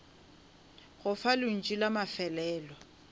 go fa lentšu la mafelelo